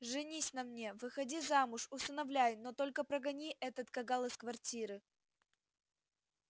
женись на мне выходи замуж усыновляй но только прогони этот кагал из квартиры